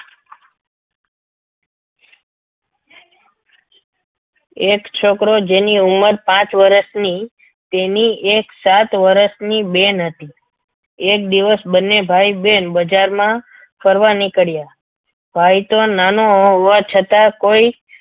એક છોકરો જેની ઉંમર પાંચ વર્ષની તેની એક સાત વર્ષની બેન હતી એક દિવસ બંને ભાઈ બહેન બજારમાં ફરવા નીકળ્યા ભાઈ તો નાનો હોવા છતાં કોઈ